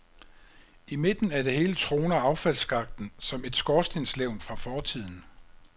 I midten af det hele troner affaldsskakten som et skorstenslevn fra fortiden.